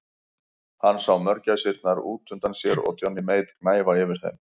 Hann sá mörgæsirnar út undan sér og Johnny Mate gnæfa yfir þeim.